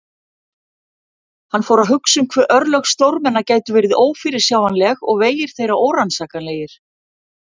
Hann fór að hugsa um hve örlög stórmenna gætu verið ófyrirsjáanleg og vegir þeirra órannsakanlegir.